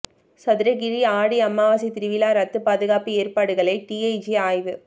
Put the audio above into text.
சதுரகிரி ஆடி அமாவாசை திருவிழா ரத்து பாதுகாப்பு ஏற்பாடுகளை டிஐஜி ஆய்வு